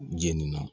Jeni na